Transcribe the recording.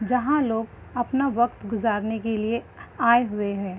जहाँ लोग अपना वक्त गुज़रने के लिए आये हुए हैं।